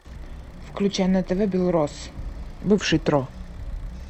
включай на тв белрос бывший тро